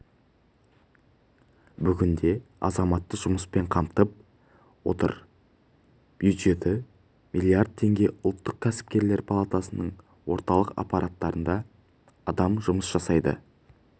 бүгінде азаматты жұмыспен қамтып отыр бюджеті миллиард теңге ұлттық кәсіпкерлер палатасының орталық аппаратында адам жұмыс жасайды